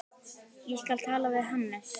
Ég skal tala við Hannes.